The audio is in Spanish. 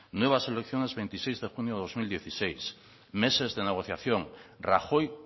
nuevas elecciones veintiséis de junio dos mil dieciséis meses de negociación rajoy